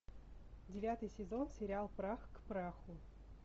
девятый сезон сериал прах к праху